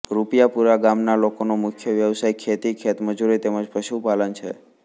રૂપિયાપુરા ગામના લોકોનો મુખ્ય વ્યવસાય ખેતી ખેતમજૂરી તેમ જ પશુપાલન છે